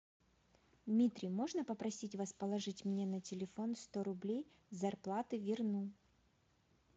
дмитрий можно попросить вас положить мне на телефон сто рублей с зарплаты верну